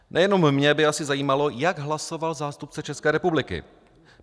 Nejenom mě by asi zajímalo, jak hlasoval zástupce České republiky.